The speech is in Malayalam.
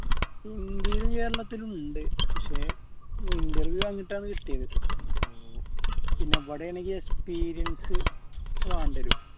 ഇന്ത്യയിലും കേരളത്തിലും ഉണ്ട് പക്ഷേ കിട്ടിയത് പിന്നെ ഇവിടെയാണെങ്കി experience വേണ്ട വരും